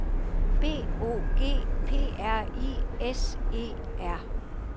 B O G P R I S E R